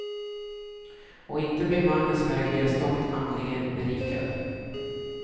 Och inte blir mannen som äger deras tomt andligen berikad.